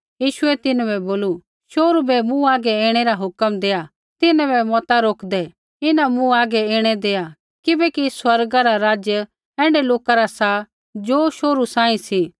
यीशुऐ तिन्हां बै बोलू शोहरू बै मूँ हागै ऐणै रा हुक्म देआ तिन्हां बै मता रोकदै इन्हां मूँ हागै ऐणै दैआ किबैकि स्वर्ग रा राज्य ऐण्ढै लोका रा सा ज़ो शोहरू सांही सी